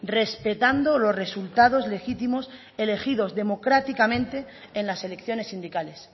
respetando los resultados legítimos elegidos democráticamente en las elecciones sindicales